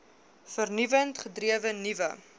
vernuwend gedrewe nuwe